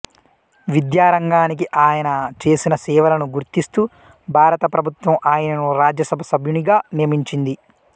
విద్యారంగానికి ఆయన చేసిన సేవలను గుర్తిస్తూ భారత ప్రభుత్వం ఆయనను రాజ్యసభ సభ్యునిగా నియమించింది